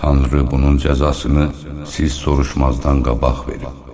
Tanrı bunun cəzasını siz soruşmazdan qabaq verib.